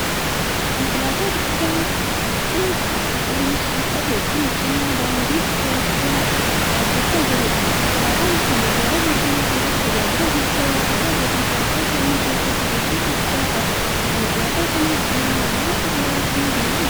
Konkolaataa guddaa halluu cuquliisa qabu kan cina daandii gurraachaa dhaabbachaa jiruudha. Konkolaataan kun magaalaa Finfinnee keessatti tajaajila geejjiba hawaasaa gatii salphaan kennuu keessatti gahee guddaa qaba. Konkolaataa kana cina namoonni muraasni deemaa jiru.